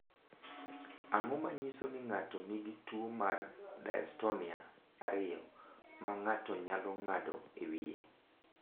Ang’o ma nyiso ni ng’ato nigi tuwo mar Dystonia 2, ma ng’ato nyalo ng’ado e wiye?